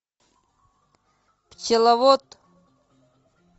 пчеловод